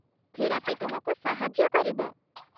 Therapy ତୁମକୁ ସାହାଯ୍ୟ କରିବ।